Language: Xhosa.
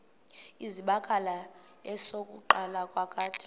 zibakala esokuqala kakade